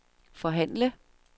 forhandle